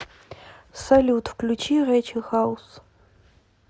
салют включи рэйчел хаус